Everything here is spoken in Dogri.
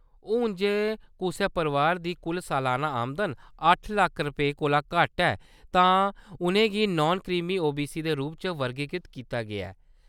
हून, जे कुसै परोआर दी कुल सलान्ना आमदन अट्ठ लक्ख रपेंऽ कोला घट्ट ऐ तां उʼनें गी नान-क्रीमी ओबीसी दे रूप च वर्गीकृत कीता गेआ ऐ।